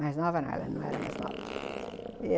Mais nova não, ela não era mais nova.